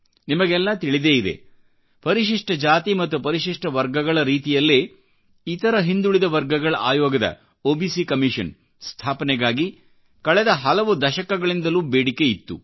ನಿಮಗೆಲ್ಲಾ ತಿಳಿದೇ ಇದೆ ಪರಿಶಿಷ್ಟ ಜಾತಿ ಮತ್ತು ಪರಿಶಿಷ್ಟ ವರ್ಗಗಳ ರೀತಿಯಲ್ಲೇ ಇತರಹಿಂದುಳಿದ ವರ್ಗಗಳ ಆಯೋಗದ ಒಬಿಸಿ ಕಮಿಷನ್ ಸ್ಥಾಪನೆಗಾಗಿ ಕಳೆದ ಹಲವು ದಶಕಗಳಿಂದಲೂ ಬೇಡಿಕೆ ಇತ್ತು